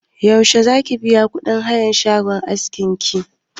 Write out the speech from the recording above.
Yaushe zaki biya kuɗin haya na shagon askin ki?